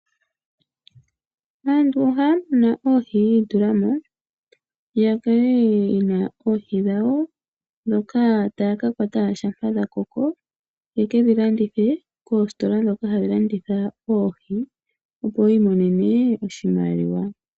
Aantu ohaya munu oohi yi itula mo ya kale ye na oohi dhawo ndhoka taya ka kwata shampa dha koko ye ke dhi landithe koositola ndhoka hadhi landitha oohi, opo yi imonene oshimaliwa.